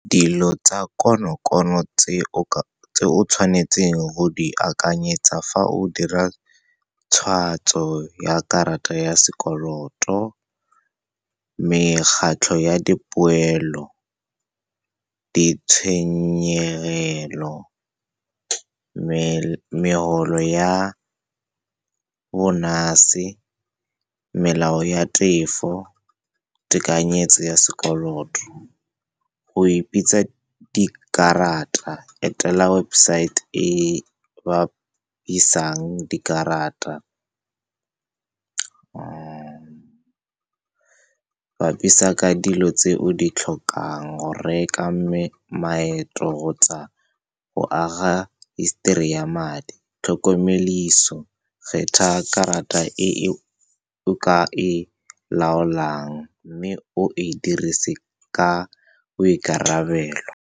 Dilo tsa konokono tse o tshwanetseng go di akanyetsa fa o dira tshwatso ya karata ya sekoloto, mekgatlho ya dipoelo, ditshenyegelo, megolo ya bonus-e, melao ya tefo, tekanyetso ya sekoloto, go e pitsa dikarata, etela website e ba buisang dikarata, bapisa ka dilo tse o di tlhokang, go reka, mme, maeto, kgotsa go aga history ya madi. kgetha karata e o laolang, mme o e dirisiwe ka boikarabelo.